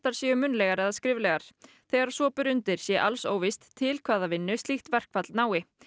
þær séu munnlegar eða skriflegar þegar svo ber undir sé alls óvíst til hvaða vinnu slíkt verkfall nái